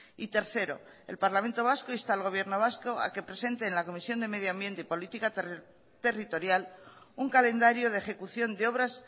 y tercero el parlamento vasco insta al gobierno vasco a que presente en la comisión de medioambiente y política territorial un calendario de ejecución de obras